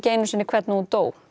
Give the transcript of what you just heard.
einu sinni hvernig hún dó